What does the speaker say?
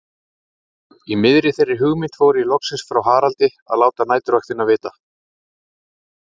Í miðri þeirri hugmynd fór ég loksins frá Haraldi að láta næturvaktina vita.